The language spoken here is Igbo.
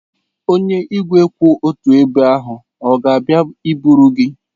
Onye igwe kwụ otu ebe ahụ ọ ga-abịa iburu gị?